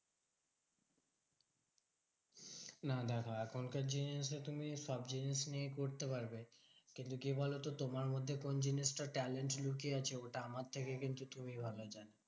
না দেখো এখনকার generation এ তুমি সব জিনিস নিয়ে করতে পারবে। কিন্তু কি বলতো? তোমার মধ্যে কোন জিনিসটা talent লুকিয়ে আছে ওটা আমার থেকে কিন্তু তুমি ভালো জানো।